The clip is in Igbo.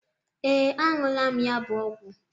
Ee, aṅụla m ya bụ ọgwụ.